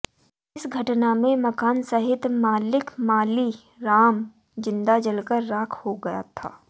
इस घटना में मकान सहित मालिक माली राम जिंदा जलकर राख हो गया था